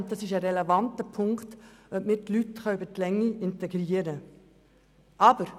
Zudem ist es ein relevanter Punkt, dass wir die Leute längerfristig integrieren können.